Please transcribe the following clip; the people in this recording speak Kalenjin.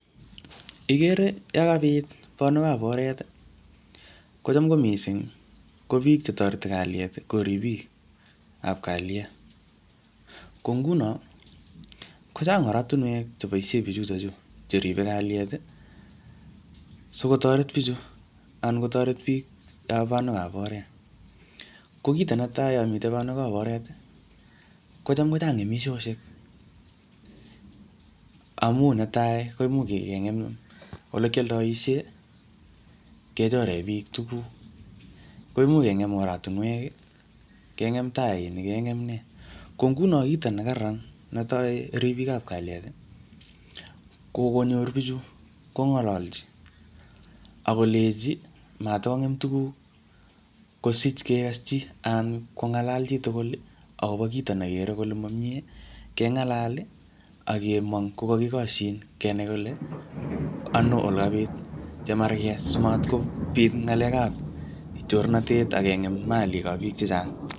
Igere yokobit bonwekab oret, kocham ko missing, ko biik che toreti kalyet, ko ripik ap kalyet. Ko nguno, kochang oratunwek che boisie bichutochu cheribe kalyet, sikotoret bichu, anan kotoret biikab anwek ab oret. Ko kito neti yomite banwek ap oret, kocham kochang ngemishoshek. Amu netai, koimuch kengem ole kialdoishe, kechore bik tuguk. Ko imuch kengem oratunwek, kengem tainik, kengem nee. Ko nguno kito ne kararan netai, ribik ap kalyet, ko konyor bichu, kongalalchi. Akoleji, matongem tuguk, kosich kekaschi anan kongalal chi tugul akobo kito negere kole mo miee, kengalal, akemong ko kakikoshin, kenai kole ano ole kabit chemarket simatkobit ngalek ap chornatet, akengem malik ap biik chechang.